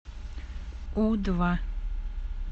у два